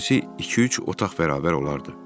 İçərisi iki-üç otaq bərabər olardı.